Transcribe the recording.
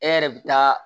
E yɛrɛ bi taa